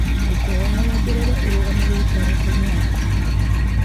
ngũkwĩhoya wongerere ũrũgamĩrĩri karenda-inĩ yakwa